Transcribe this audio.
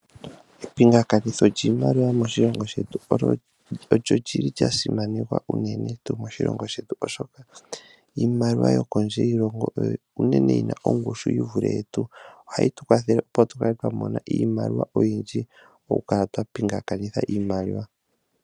Epingakanitho lyiimaliwa moshilongo shetu, olyo lili lya simanekwa uunene tuu moshilongo shetu, oshoka iimaliwa yo kondje yiilongo, oyo uunene yina ongushu yi vule yetu. Ohayi tukwathele opo tu kale twa mona iimaliwa oyindji, oku kala twa pingakanitha iimaliwa.